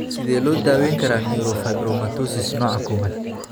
Sidee loo daweyn karaa neurofibromatosis nooca kowad?